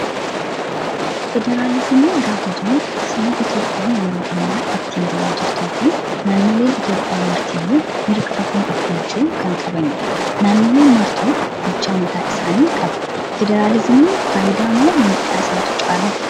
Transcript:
Federaalizimii gaafa jennu sirna Itoophiyaan yeroo ammaa ittiin bulaa jirtuu fi naannoleen Itoophiyaa martiyyuu mirga ofiin of bulchuu kan qabanidha. Naannoleen martuu bulchaa mataa isaanii qabu. Federaalizimiin fayidaa moo miidhaa isaatu caalaa?